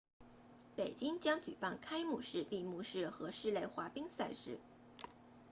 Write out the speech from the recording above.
北京将举办开幕式闭幕式和室内滑冰赛事